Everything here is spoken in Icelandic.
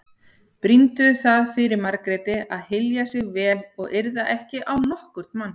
Brýndu það fyrir Margréti að hylja sig vel og yrða ekki á nokkurn mann.